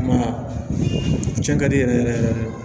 Nka cɛn ka di yɛrɛ yɛrɛ yɛrɛ de